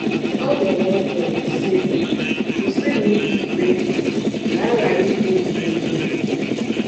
Ọ dụrụ ọdụ, sị: “ Kwụsịnụ ikpe um ikpe ka um a ghara ikpe unu ikpe.